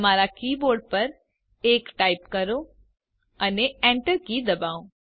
તમારા keyboard પર 1 type કરો અને એન્ટર કી ડબાઓ